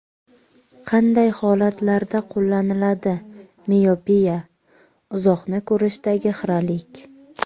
Qanday holatlarda qo‘llaniladi Miopiya: uzoqni ko‘rishdagi xiralik.